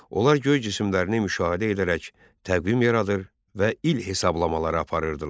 Onlar göy cisimlərini müşahidə edərək təqvim yaradır və il hesablamaları aparırdılar.